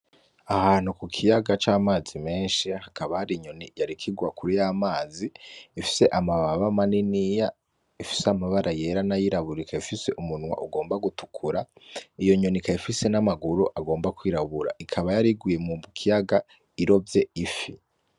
Ahantu ku kiyaga c'amazi menshi hakabahari inyoni ryarikirwa kuri y'amazi ifise amababa ma ni niya ifise amabara yera n'ayiraburika ifise umunwa ugomba gutukura iyo nyonika yifise n'amaguru agomba kwirabura ikaba yariguye mu ukiyaga irovye ifi.